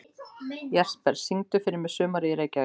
Jesper, syngdu fyrir mig „Sumarið í Reykjavík“.